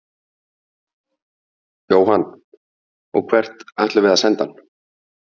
Jóhann: Og hvert ætlum við að senda hann?